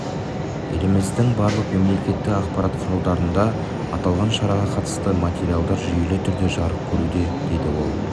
еліміздің барлық мемлекеттік ақпарат құралдарында аталған шараға қатысты материалдар жүйелі түрде жарық көруде деді ол